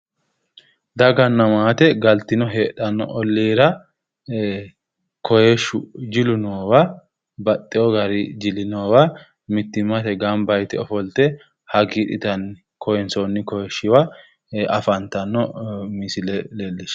Daganna maate galtino heedhanno olliira kooyiishshu jilu noowa baxxewo gari jilu noowa mittimmate gamba yite ofolte hagiidhitanni kooyiinsoonni kooyiishshiwa afantanno misile leellishshanno misile leellishshanno.